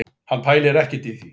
Hann pælir ekkert í því